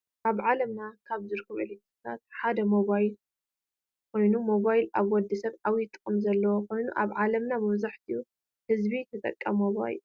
አብ ዓለምና ካብ ዝርከቡ ኤሌተሪኒክሳት ሓደ ሞባይል ኮይኑ ሞባይል አብ ወድስብ ዓብይ ጥቅሚ ዘለዎ ኮይኑ አብ ዓለምና መብዛሕቲኡ ህዝቢ ተጠቃሚ ሞባይል እዩ።